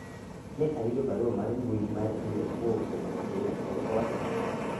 ne ayudo barua mar mbui mar email kowuok kuom Mutinda kendo owacho ang'o